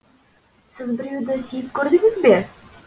сіз біреуді сүйіп көрдіңіз бе